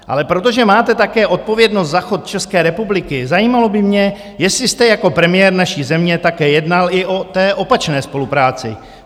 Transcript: Ale protože máte také odpovědnost za chod České republiky, zajímalo by mě, jestli jste jako premiér naší země také jednal i o té opačné spolupráci?